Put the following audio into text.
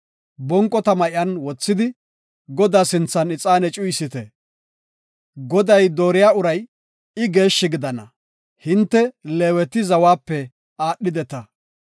bonqo tama iyan wothidi, Godaa sinthan ixaane cuyisite. Goday dooriya uray I geeshshi gidana. Hinte, Leeweti zawape aadhideta.”